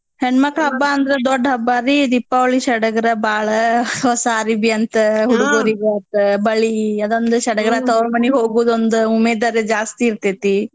ಹೆಣ್ಮಕ್ಳ್ ಹಬ್ಬ ಅಂದ್ರ ದೊಡ್ಡ ಹಬ್ಬಾರೀ ದೀಪಾವಳಿ ಸಡಗರ ಬಾಳ್ ಹೊಸಾ ಅರ್ಬಿ ಅಂತ್ ಹುಡ್ಗೂರ್ಗಾತ್ ಬಳಿ ಅದೊಂದ್ ಸಡಗರ ತವ್ರಮನಿಗ್ ಹೋಗೋದೊಂದ್ ಉಮೇದರಿ ಜಾಸ್ತಿ ಇರ್ತೇತಿ.